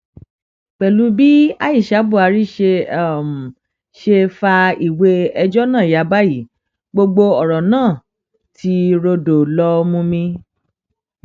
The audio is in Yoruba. pẹlú bí aisha buhari ṣe ṣe fa ìwé ẹjọ náà ya báyìí gbogbo ọrọ náà ti rọdọ lọọ mumi